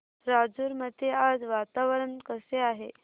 राजूर मध्ये आज वातावरण कसे आहे